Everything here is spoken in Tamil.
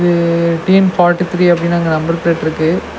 இது டி_என் ஃபார்டி த்ரி அப்டினு அங்க நம்பர் ப்ளேட்ருக்கு .